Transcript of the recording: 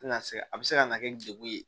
Tɛna se a bɛ se ka na kɛ degun ye